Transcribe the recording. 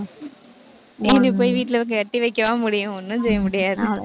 போய் வீட்டுல போய் கட்டி வைக்கவா முடியும்? ஒண்ணும் செய்ய முடியாது.